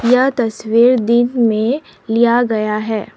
यह तस्वीर दिन में लिया गया है।